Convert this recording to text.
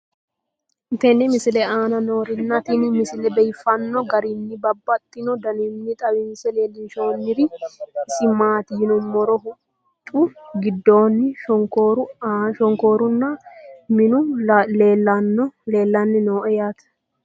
tenne misile aana noorina tini misile biiffanno garinni babaxxinno daniinni xawisse leelishanori isi maati yinummoro huxxu gidoonni shonkooru nna minu leelanni noo yaatte